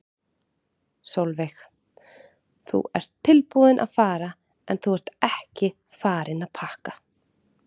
Sólveig: Þú ert tilbúinn að fara en þú ert ekki farinn að pakka?